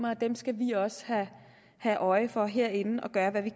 og dem skal vi også have øje for herinde og gøre hvad vi